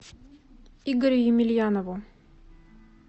игорю емельянову